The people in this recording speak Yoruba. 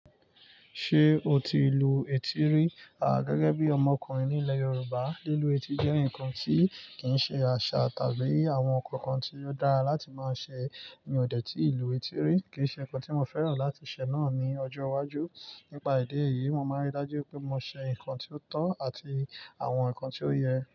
Ṣé o ti lu etí rí? A, gẹ́gẹ́ bí ọmọkùnrin nílẹ̀ Yorùbá, lílu etí jẹ́ ǹkan tí kì í ṣe àṣà tàbí àwọn ǹkan kan tí ó dára láti máa ṣe. Mi ò dè tí lù etí rí, kì í ṣe nǹkan tí mo fẹ́ràn láti ṣẹ̀ náà ní ọjọ́ iwájú. Nípa ìdí èyí, mo máa rí i dájú wí pé mo ṣe ǹkan tí ó tọ́ àti àwọn ǹkan tí ó yẹ.